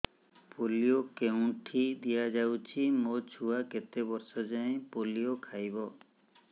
polio କେଉଁଠି ଦିଆଯାଉଛି ମୋ ଛୁଆ କେତେ ବର୍ଷ ଯାଏଁ ପୋଲିଓ ଖାଇବ